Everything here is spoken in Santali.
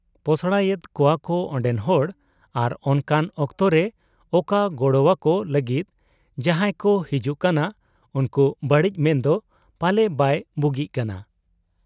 ᱯᱚᱥᱲᱟᱭᱮᱫ ᱠᱚᱣᱟᱠᱚ ᱚᱱᱰᱮᱱ ᱦᱚᱲ ᱟᱨ ᱚᱱᱠᱟᱱ ᱚᱠᱛᱚᱨᱮ ᱚᱠᱟ ᱜᱚᱲᱚᱣᱟᱠᱚ ᱞᱟᱹᱜᱤᱫ ᱡᱟᱦᱟᱸᱭᱠᱚ ᱦᱤᱡᱩᱜ ᱠᱟᱱᱟ ᱩᱱᱠᱩ ᱵᱟᱹᱲᱤᱡ ᱢᱮᱱᱫᱚ ᱯᱟᱞᱮ ᱵᱟᱭ ᱵᱩᱜᱤᱜ ᱠᱟᱱᱟ ᱾